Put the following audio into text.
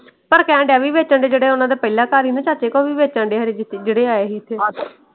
ਪਰ ਕਹਿਣ ਡਿਆ ਵੀ ਵੇਚਣ ਦੇ ਜਿਹੜੇ ਓਹਨਾ ਦਾ ਪਹਿਲਾ ਘਰ ਸੀ ਨਾ ਚਾਚੇ ਕਾ। ਉਹ ਵੀ ਵੇਚਣ ਡੇ ਜਿਹੜੇ ਆਏ ਸੀ ਏਥੇ।